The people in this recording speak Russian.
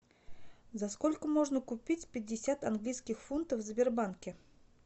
за сколько можно купить пятьдесят английских фунтов в сбербанке